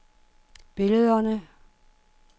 billederne